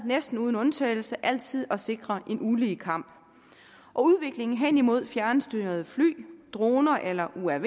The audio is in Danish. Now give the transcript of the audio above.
næsten uden undtagelse altid været at sikre en ulige kamp og udviklingen hen imod fjernstyrede fly droner eller uaver er